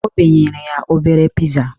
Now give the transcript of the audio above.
O benyere ya obere piza